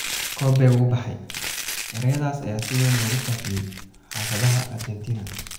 "Kobe wuu baxay," ereyadaas ayaa si weyn loogu faafiyey xaafadaha Argentina.